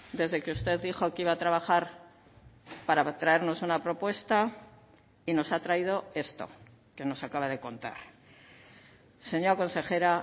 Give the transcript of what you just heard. desde que usted dijo que iba a trabajar para traernos una propuesta y nos ha traído esto que nos acaba de contar señora consejera